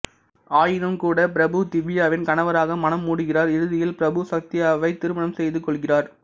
ஆயினும்கூட பிரபு திவ்யாவின் கணவராக மணம் முடிகிறார் இறுதியில் பிரபு சத்யாவை திருமணம் செய்து கொள்கிறார்